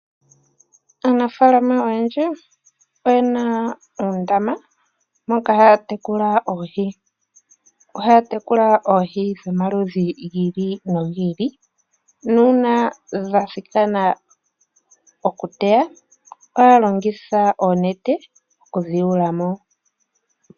Aanafaalama oyendji oyena oondama moka haya tekula oohi. Ohaya tekula oohi dhomaludhi gi ili nogi ili nuuna dha thikana okuliwa ohaya longitha oonete oku dhiyuulamo.